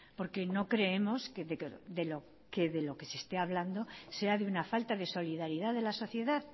porque no creemos que de lo que se esté hablando sea de una falta de solidaridad de la sociedad